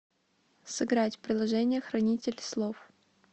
сыграть в приложение хранитель слов